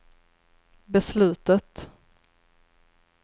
beslutet